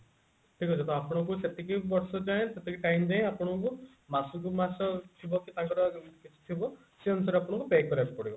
ଠିକ ଅଛି ତ ଆପଣଙ୍କୁ ସେତିକି ବର୍ଷ ଯାଏଁ ସେତିକି time ଯାଏଁ ଆପଣଙ୍କୁ ମାସକୁ ମାସ ଥିବ କି ତାଙ୍କର ଯେମତି କିଛି ଥିବ ସେଇ ଅନୁସାରେ ଆପଣଙ୍କୁ pay କରିବାକୁ ପଡିବ